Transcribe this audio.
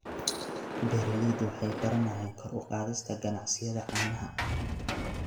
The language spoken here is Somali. Beeraleydu waxay baranayaan kor u qaadista ganacsiyada caanaha.